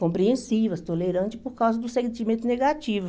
Compreensivas, tolerantes por causa do sentimento negativo.